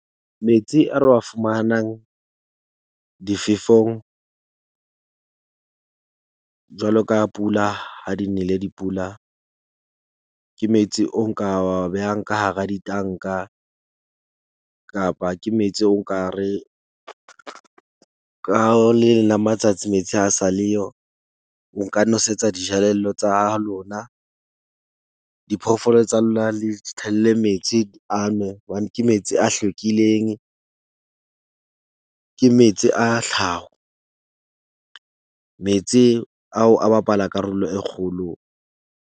Metsi a re wa fumahanang difefong jwalo ka pula, ha di nele dipula ke metsi, o nka wa behang ka hara ditanka, kapa ke metsi o nka re ka o le leng la matsatsi metsi ha sa le yo. O nka nosetsa dijelello tsa ha lona, diphoofolo tsa lona le di tshelle metsi a nwe. Hobane ke metsi a hlwekileng. Ke metsi a tlhaho, metsi ao, a bapala karolo e kgolo.